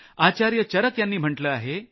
आचार्य चरक यांनी म्हटलं आहे